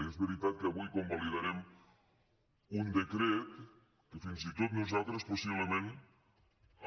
i és veritat que avui convalidarem un decret a què fins i tot nosaltres possiblement